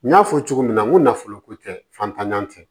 N y'a fɔ cogo min na n ko nafolo ko tɛ fantannan tɛ